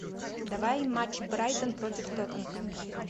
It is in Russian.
давай матч брайтон против тоттенхэм